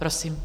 Prosím.